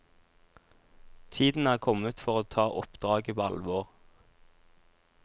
Tiden er kommet for å ta oppdraget på alvor.